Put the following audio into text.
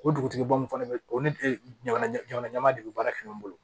O dugutigi bo min fana bɛ o ne jamana ɲama de bɛ baara kɛ ɲɔgɔn bolo